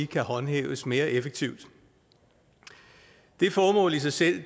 kan håndhæves mere effektivt det formål i sig selv